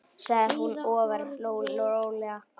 sagði hún ofur rólega.